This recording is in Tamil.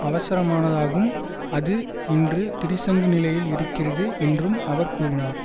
அவசரமானதாகும் அது இன்று திரிசங்கு நிலையில் இருக்கிறது என்றும் அவர் கூறினார்